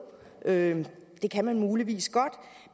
det det kan man muligvis godt